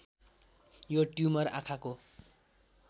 यो ट्युमर आँखाको